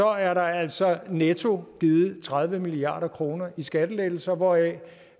er der altså netto givet tredive milliard kroner i skattelettelser hvoraf